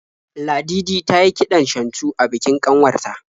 Ladidi tayi kiɗan shantu a bikin kanwar ta.